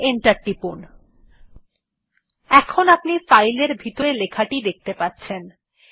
এখন আপনি ফাইল টির ভিতরের লেখাটি দেখতে পাচ্ছেন